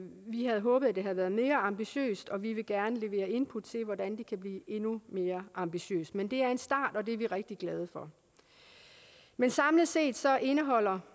vi havde håbet det havde været mere ambitiøst og vi vil gerne levere input til hvordan det kan blive endnu mere ambitiøst men det er en start og det er vi rigtig glade for men samlet set indeholder